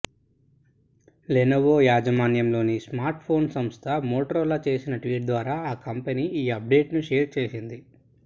Lenovo యాజమాన్యంలోని smartphone సంస్థ Motorola చేసిన ట్వీట్ ద్వారా కంపెనీ ఈ అప్డేట్ను షేర్ చేసింది